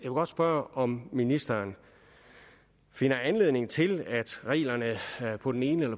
godt spørge om ministeren finder anledning til at reglerne på den ene